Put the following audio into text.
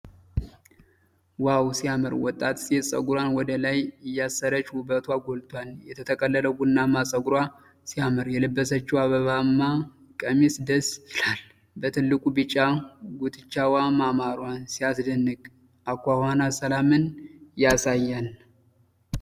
ዋው፣ ሲያምር! ወጣት ሴት ጸጉሯን ወደ ላይ እያሰረች ውበቷ ጎልቷል። የተጠቀለለው ቡናማ ጸጉሯ ሲያምር፣ የለበሰችው አበባማ ቀሚስ ደስ ይላል። በትልቁ ቢጫ ጉትቻዋ ማማሯ ሲያስደንቅ፣ አኳኋኗ ሰላምን ያሳያል።